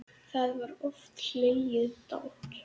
Þá var oft hlegið dátt.